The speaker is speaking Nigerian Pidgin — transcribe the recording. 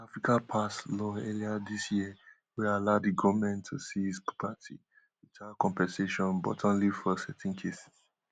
africa pass law earlier dis year wey allow di goment to seize property witout compensation butonly for certain cases